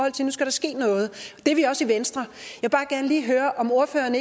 at der nu skal ske noget det er vi også i venstre om ordføreren